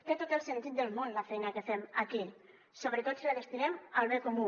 té tot el sentit del món la feina que fem aquí sobretot si la destinem al bé comú